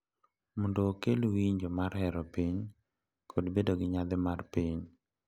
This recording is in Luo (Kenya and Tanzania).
Mondo okel winjo mar hero piny kod bedo gi nyadhi mar piny,